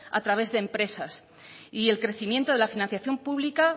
a través de empresas y el crecimiento de la financiación pública